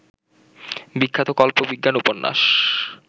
বিখ্যাত কল্প বিজ্ঞান উপন্যাস